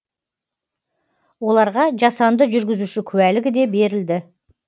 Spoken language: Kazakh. оларға жасанды жүргізуші куәлігі де берілді